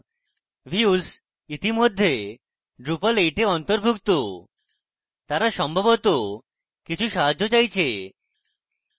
views ইতিমধ্যে drupal 8 এ অন্তর্ভুক্ত তারা সম্ভবত কিছু সাহায্য চাইছে